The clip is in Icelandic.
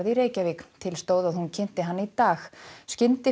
í Reykjavík til stóð að hún kynnti hana í dag